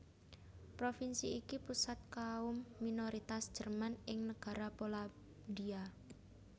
Provinsi iki pusat kaum minoritas Jerman ing Nagara Polandia